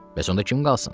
Bəs onda kim qalsın?